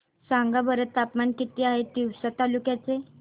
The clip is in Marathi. सांगा बरं तापमान किती आहे तिवसा तालुक्या चे